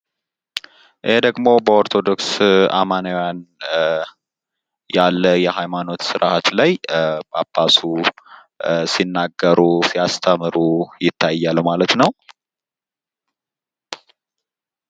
ይሄ ደግሞ በኦርቶዶክስ አማናዊያን ያለ የአሀይማኖት ስርአት ላይ ጳጳሱ ሲናገሩ ሲያስተምሩ ይታያል ማለት ነው።